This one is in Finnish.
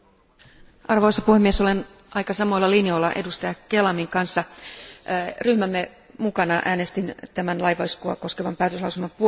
Arvoisa puhemies, olen aika samoilla linjoilla jäsen Kelamin kanssa. Ryhmämme mukana äänestin tämän laivaiskua koskevan päätöslauselman puolesta.